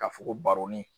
Ka fokoroni